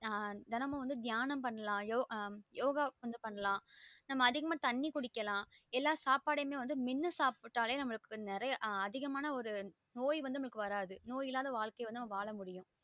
ஆஹ் தினமும் வந்து தியானம் பண்ணலாம் யோக கொஞ்சம் பன்னலாம் நம்ம அதிகமா தண்ணீ குடிக்கலாம் எல்லாசாப்பாடுமே மென்னு சாப்பிட்டாலே நமக்கு நெறைய அதிகமான நோய் இல்லாத வாழ்கைய நம்ம வாழலாம்